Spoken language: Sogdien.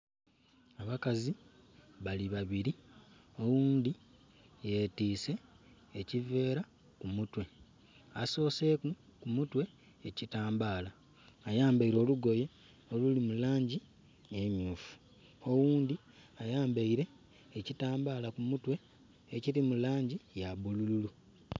Abakazi bali babiri. Oghundi yetise ekiveera ku mutwe. Asoseku ku mutwe ekitambala. Ayambaire olugoye olulimu langi emyufu. Oghundi ayambaire ekitambala ku mutwe ekirimu langi ya bululu